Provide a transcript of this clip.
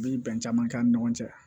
Bi bɛn caman k'an ni ɲɔgɔn cɛ